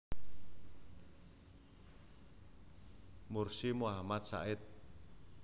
Mursi Muhammad Sa id